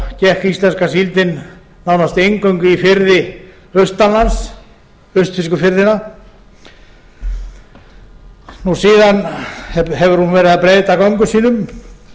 gekk íslenska síldin nánast eingöngu í firði austanlands austfirsku firðina síðan hefur hún verið að breyta göngum sínum